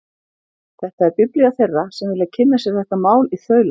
Þetta er biblía þeirra sem vilja kynna sér þetta mál í þaula.